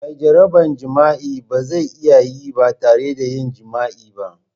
Mai jaraban jima'i ba zai iya yin ba tare da yin jima'i ba.